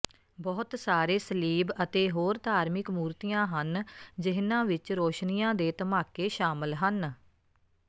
ਬਹੁਤ ਸਾਰੇ ਸਲੀਬ ਅਤੇ ਹੋਰ ਧਾਰਮਿਕ ਮੂਰਤੀਆਂ ਹਨ ਜਿਹਨਾਂ ਵਿਚ ਰੋਸ਼ਨੀਆਂ ਦੇ ਧਮਾਕੇ ਸ਼ਾਮਲ ਹਨ